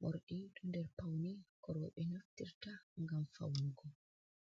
morɗi ɗo nder pawne ko rowɓe naftirta ngam fawnugo.